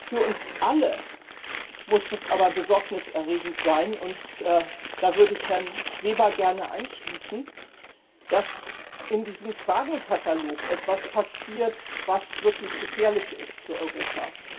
Für uns alle aber muss besorgniserregend sein und da würde ich mich Herrn Weber gerne anschließen dass in diesem Fragenkatalog etwas passiert, was wirklich gefährlich ist für Europa.